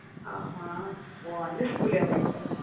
ஆமா. ஓ அந்த school லையா படிச்ச?